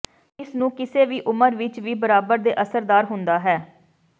ਇਸ ਨੂੰ ਕਿਸੇ ਵੀ ਉਮਰ ਵਿਚ ਵੀ ਬਰਾਬਰ ਦੇ ਅਸਰਦਾਰ ਹੁੰਦਾ ਹੈ